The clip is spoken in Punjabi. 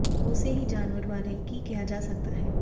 ਉਸੇ ਹੀ ਜਾਨਵਰ ਬਾਰੇ ਕੀ ਕਿਹਾ ਜਾ ਸਕਦਾ ਹੈ